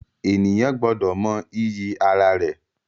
Ènìyàn gbọ́dọ̀ mọ iyì ara rẹ̀